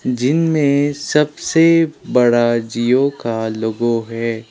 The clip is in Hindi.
जिनमें सबसे बड़ा जिओ का लोगो है।